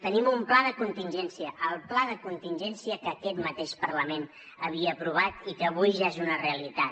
tenim un pla de contingència el pla de contingència que aquest mateix parlament havia aprovat i que avui ja és una realitat